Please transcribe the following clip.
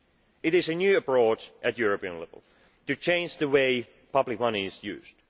It is a new approach at European level, to change the way public money is used.